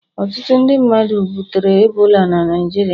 Ọtụtụ ndị mmadu butere ebola na Naịjirịa